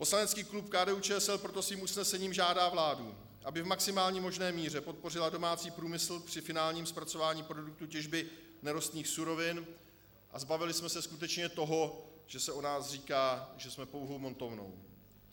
Poslanecký klub KDU-ČSL proto svým usnesením žádá vládu, aby v maximální možné míře podpořila domácí průmysl při finálním zpracování produktů těžby nerostných surovin, a zbavili jsme se skutečně toho, že se o nás říká, že jsme pouhou montovnou.